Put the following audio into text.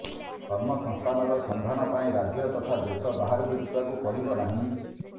କର୍ମସଂସ୍ଥାନର ସନ୍ଧାନ ପାଇଁ ରାଜ୍ୟ ତଥା ଦେଶ ବାହାରକୁ ଯିବାକୁ ପଡ଼ିବ ନାହିଁ